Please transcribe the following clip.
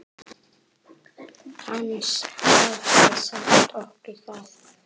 Hann hafði sagt okkur það.